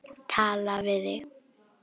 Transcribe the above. Tala við þig?